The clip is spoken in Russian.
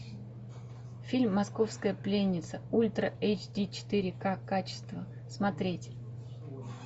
фильм московская пленница ультра эйч ди четыре ка качества смотреть